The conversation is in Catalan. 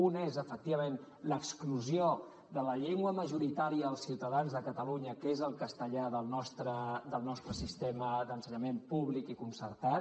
un és efectivament l’exclusió de la llengua majoritària dels ciutadans de catalunya que és el castellà del nostre sistema d’ensenyament públic i concertat